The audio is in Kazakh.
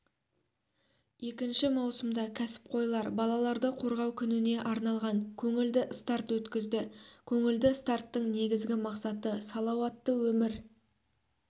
екінші маусымда кәсіпқойлар балаларды қорғау күніне арналған көңілді старт өткізді көңілді старттың негізгі мақсаты салауатты өмір